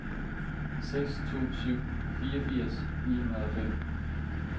seks to syv tre fireogfirs ni hundrede og fem